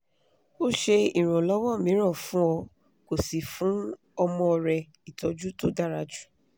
o ṣe iranlọwọ miran fun ọ ko si fun omo re itoju to dara ju